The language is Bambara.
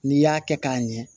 N'i y'a kɛ k'a ɲɛ